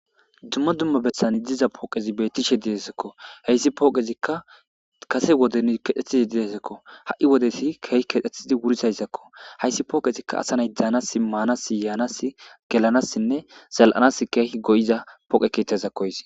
Dumma dumma bessan diza pooqezi bettishe desekko heyssi pooqezikka kase woden kexetizi desekko ha7i wodeti keehi kexethidi wuridayssakko hayssi pooqezikka asanay daanas maanas yaanas gelanassinne zal7anas keehi go7iza pooqe keettazakko.